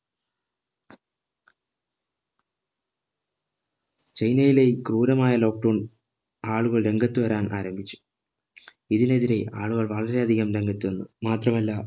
ചൈനയിലെ ക്രൂരമായ lockdown ആളുകൾ രംഗത്ത് വരാൻ ആരംഭിച്ചു ഇതിനെതിരെ ആളുകൾ വളരെ അധികം രംഗത്ത് വന്നു മാത്രമല്ല